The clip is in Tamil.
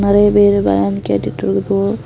நிறைய பேரு பேன்னு கேட்டுட்டு இருக்கு.